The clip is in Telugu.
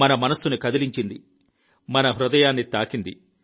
మన మనస్సును కదిలించింది మన హృదయాన్ని తాకింది